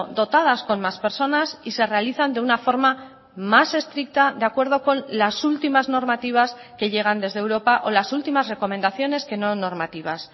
dotadas con más personas y se realizan de una forma más estricta de acuerdo con las últimas normativas que llegan desde europa o las últimas recomendaciones que no normativas